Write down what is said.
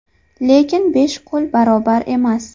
Lekin besh qo‘l barobar emas.